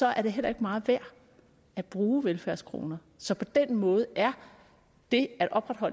er det heller ikke meget værd at bruge velfærdskroner så på den måde er det at opretholde